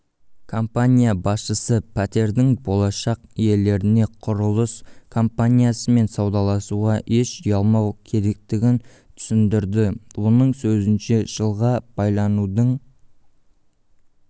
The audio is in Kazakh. компания басшысы пәтердің болашақ иелеріне құрылыс компаниясымен саудаласуға еш ұялмау керектігін түсіндірді оның сөзінше жылға байланудың